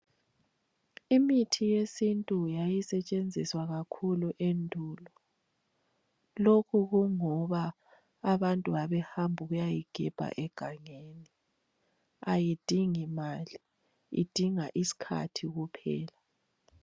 Imithi yesintu yayisetshenziswa kakhulu endulo. Lokhu kungoba, abantu babehamba ukuyayigebha egangeni. Ayidingimali, idinga iskhathi kuphela.